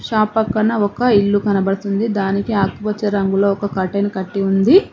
Shop పక్కన ఒక ఇల్లు కనబడుతుంది దానికి ఆకు పచ్చ రంగులో ఒక కర్టెన్ కట్టి ఉంది.